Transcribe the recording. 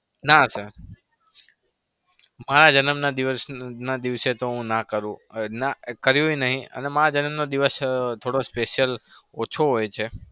ના sir મારા જન્મના દિવસના દિવસે તો હું ના કરું. ના કર્યું ય નહી અને મારા જન્મનો દિવસ થોડો special ઓછો હોય છે.